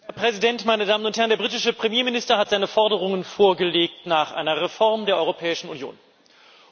Herr Präsident, meine Damen und Herrn! Der britische Premierminister hat seine Forderungen nach einer Reform der Europäischen Union vorgelegt.